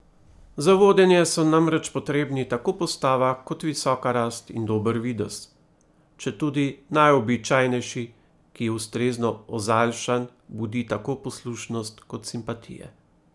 Za vodenje so namreč potrebni tako postava kot visoka rast in dober videz, četudi najobičajnejši, ki, ustrezno ozaljšan, budi tako poslušnost kot simpatije.